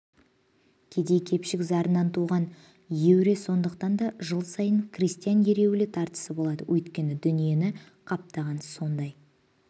кедей-кепшік зарынан туған еуре сондықтан да жыл сайын крестьян ереуілі тартысы болады өйткені дүниені қаптаған сондай